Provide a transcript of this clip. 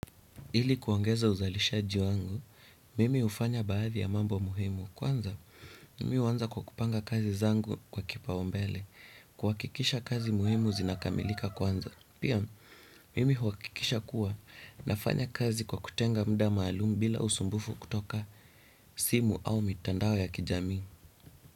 Ili kuongeza uzalishaji wangu, mimi hufanya baadhi ya mambo muhimu kwanza, mimi huanza kwa kupanga kazi zangu kwa kipaombele, kuhakikisha kazi muhimu zinakamilika kwanza, pia mimi huwakikisha kuwa nafanya kazi kwa kutenga mda maalum bila usumbufu kutoka simu au mitandao ya kijamii.